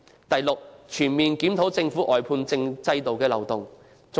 第六，全面檢討政府外判制度的漏洞。